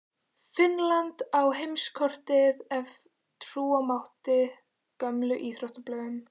Finnland inn á heimskortið ef trúa mátti gömlum íþróttablöðum.